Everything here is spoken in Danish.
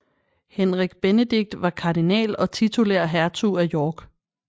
Henrik Benedict var kardinal og titulær hertug af York